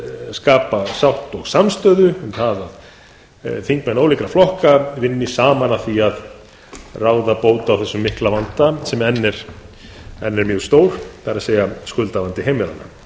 skapa sátt og samstöðu um að þingmenn ólíkra flokka vinni saman að því að ráða bót á þessum mikla vanda sem enn er mjög stór það er skuldavandi heimilanna ég